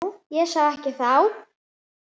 Ég sá það ekki þá.